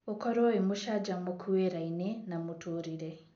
ũkorwo wĩ mũcanjamũku wĩra-inĩ na mũtũrĩre